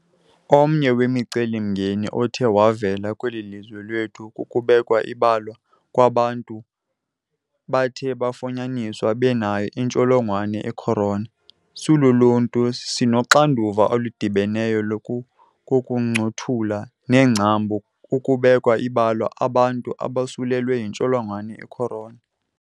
Omnye wemicelimngeni othe wavela kweli lizwe lethu kukubekwa ibala kwabo bantu bathe bafunyaniswa benayo intsholongwane i-corona. Siluluntu, sinoxanduva oludibeneyo lokukuncothula nengcambu ukubeka ibala abantu abosulelwe yintsholongwane i-corona .